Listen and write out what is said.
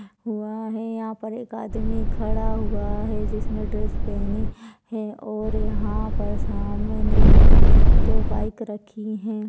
हुआ है और एक यहाँ पर एक आदमी खड़ा हुआ है जिसने ड्रेस पहनी है और यहाँ पर सामने दो बाइक रखी हैं|